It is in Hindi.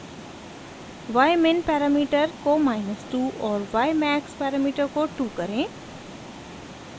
ymin पैरामीटर को माइनस 2 और ymax पैरामीटर को 2 करें